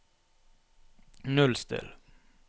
nullstill